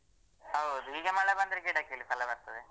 ಹೌದು ಈಗ ಮಳೆ ಬಂದ್ರೆ ಗಿಡಕ್ಕೆಲ್ಲಿ ಫಲ ಬರ್ತದೆ.